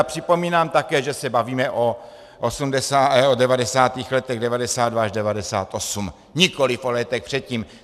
A připomínám také, že se bavíme o devadesátých letech, 1992 až 1998, nikoliv o létech předtím.